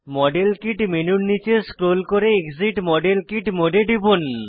model kit মেনুতে নীচে scroll করে এক্সিট মডেল কিট মোড এ টিপুন